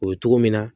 O ye cogo min na